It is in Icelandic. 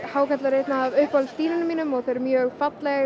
hákarlar eru einn af uppáhalds dýrunum mínum þau eru mjög falleg